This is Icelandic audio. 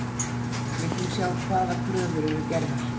Vildum sjá hvaða kröfur eru gerðar